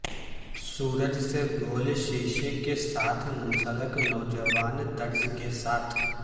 سورج سے گول شیشے کے ساتھ منسلک نوجوان طرز کے ساتھ